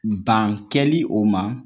Ban kɛli o ma